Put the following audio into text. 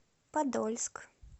подольск